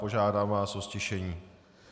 Požádám vás o ztišení.